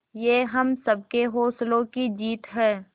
ये हम सबके हौसलों की जीत है